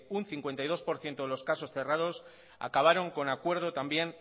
un cincuenta y dos por ciento de los casos cerrados acabaron con acuerdo también